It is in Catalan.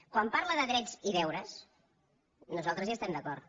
quan parla de drets i deures nos·altres hi estem d’acord